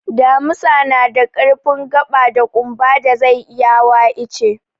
Damisa na da ƙarfin gaɓa da ƙumba da zai iya hawa ice.